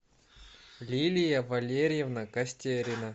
лилия валерьевна костерина